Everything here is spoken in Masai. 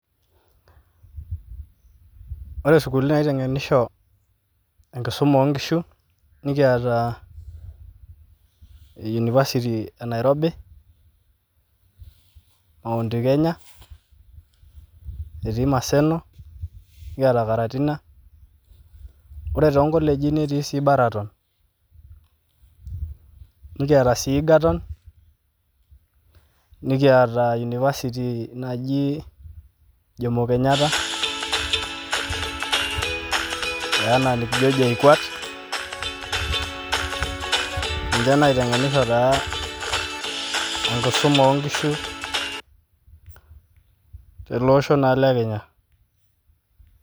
Ore sukulini naitengenisho enkisuma oonkishu nikiata university e nairobi , mount kenya , etii maseno kiata karatina. Ore too nkoleji netii sii baraton , nikiata sii egerton , nikiata university naji jomo kenyata